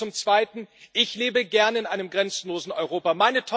Und zum Zweiten Ich lebe gern in einem grenzenlosen Europa.